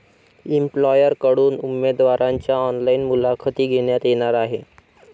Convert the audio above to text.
एम्प्लॉयरकडून उमेदवारांच्या ऑनलाईन मुलाखती घेण्यात येणार आहे.